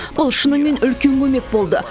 бұл шынымен үлкен көмек болды